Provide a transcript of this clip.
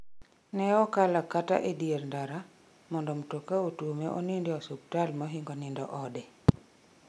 Ne okalo kata e dier ndara mondo mtoka otuome onind e osuptal mohingo nindo ode